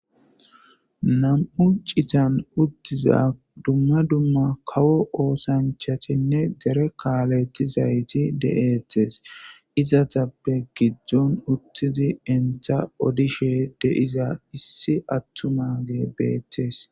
Nam'u citan uttiza dumma dumma kawo oosanchatinne dere kaalettizayti de7ettes izatappe giddon uttidi entha odishe deiza issi attuma ge beettees